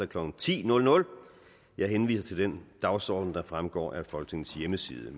klokken ti jeg henviser til den dagsorden der fremgår af folketingets hjemmeside